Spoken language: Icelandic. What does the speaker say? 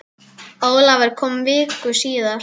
Ólafur kom viku síðar.